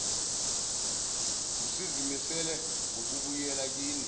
usuzimisele ngokubuyela kini